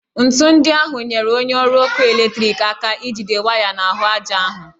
Ńtù ndị ahụ nyere onye ọrụ ọkụ eletriki aka ijide waya n'ahụ aja ahụ